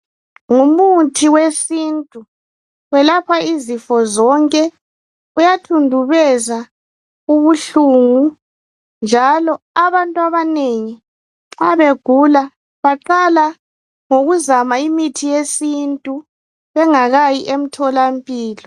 Ngumuthi wesintu. Welapha izifo zonke. Uyathundubeza ubuhlungu, njalo abantu abanengi nxa begula baqala ngokuzama imithi yesintu bengakayi emtholampilo.